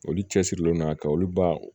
Olu cɛsirilen don a ka olu ba